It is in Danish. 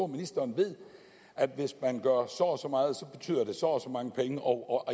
ministeren ved at hvis man gør så og så meget betyder det så og så mange penge og